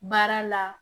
Baara la